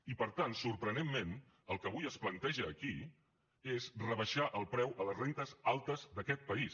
i per tant sorprenentment el que avui es planteja aquí és rebaixar el preu a les rendes altes d’aquest país